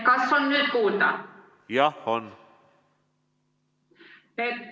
Kas on nüüd kuulda?